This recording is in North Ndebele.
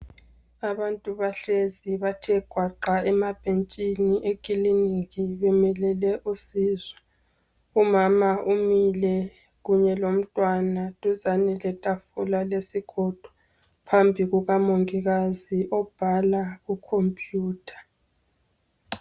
Abantu bahlezi bathe gwaqa emabhentshini ekliniki bemelele usizo. Umama umile kunye lomntwana duzane lethafula yesigodo phambi kukamongikazi obhala kucomputer